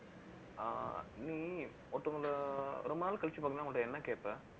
ஆஹ் நீ ஒருத்தங்களை, ரொம்ப நாள் கழிச்சு பாத்தீங்கன்னா, அவங்கிட்ட என்ன கேட்ப